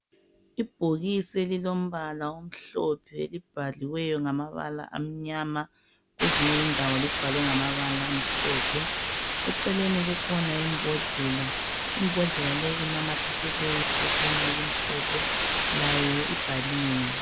Ibhokisi elilombala omhlophe elibhaliweyo ngamabala amnyama, kwezinye indawo libhalwe ngamabala amhlophe. Eceleni kukhona imbodlela, imbodlela leyi inamathiselwe iphetshana elimhlophe, layo ibhaliwe.